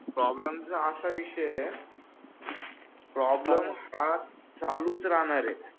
problem चा असा विषय आहे प्रॉब्लेम हा चालूच राहणार आहे